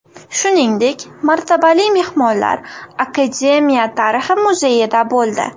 Shuningdek, martabali mehmonlar Akademiya tarixi muzeyida bo‘ldi.